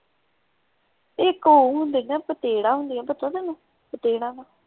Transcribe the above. ਇਕ ਉਹ ਹੁੰਦੇ ਨਾ ਪਤੇਡਾਂ ਹੁੰਦੀਆਂ ਪਤਾ ਤੈਨੂੰ ਪਤੇਡਾਂ ਦਾ?